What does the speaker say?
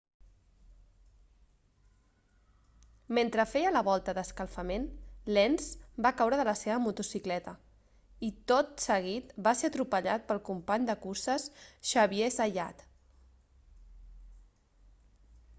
mentre feia la volta d'escalfament lenz va caure de la seva motocicleta i tot seguit va ser atropellat pel company de curses xavier zayat